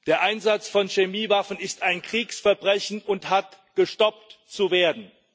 Der Einsatz von Chemiewaffen ist ein Kriegsverbrechen und hat gestoppt zu werden.